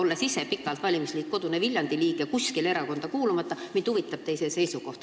Olen ise pikalt olnud kuskile erakonda kuulumata valimisliidu Kodune Viljandi liige, nii et mind huvitab teie seisukoht.